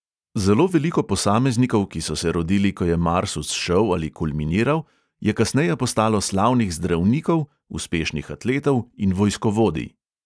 Zelo veliko posameznikov, ki so se rodili, ko je mars vzšel ali kulminiral, je kasneje postalo slavnih zdravnikov, uspešnih atletov in vojskovodij.